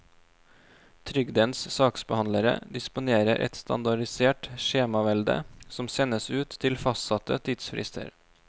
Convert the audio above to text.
Trygdens saksbehandlere disponerer et standardisert skjemavelde som sendes ut til fastsatte tidsfrister.